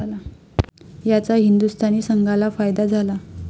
याचा हिंदुस्थानी संघाला फायदा झाला.